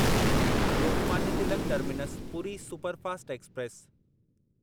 Lokmanya Tilak terminus Puri superfast express